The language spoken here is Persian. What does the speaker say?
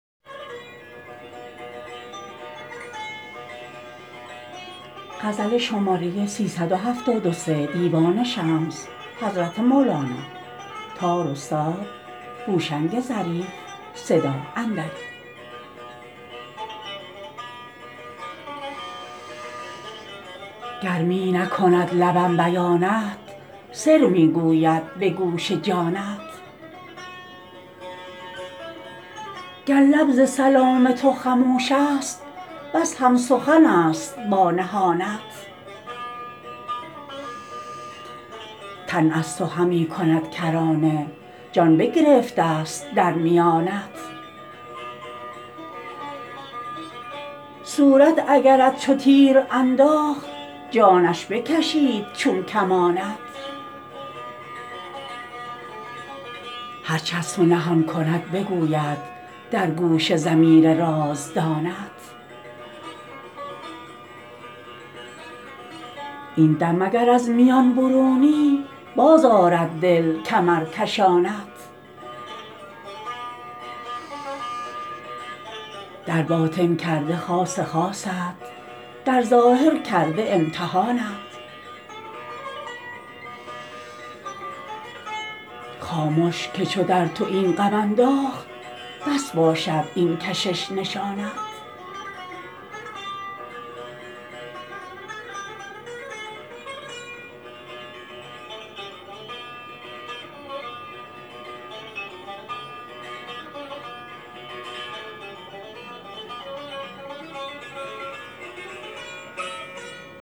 گر می نکند لبم بیانت سر می گوید به گوش جانت گر لب ز سلام تو خموش است بس هم سخن است با نهانت تن از تو همی کند کرانه جان بگرفته است در میانت صورت اگرت چو تیر انداخت جانش بکشید چون کمانت هرچ از تو نهان کند بگوید در گوش ضمیر رازدانت این دم اگر از میان برونی بازآرد دل کمرکشانت در باطن کرده خاص خاصت در ظاهر کرده امتحانت خامش که چو در تو این غم انداخت بس باشد این کشش نشانت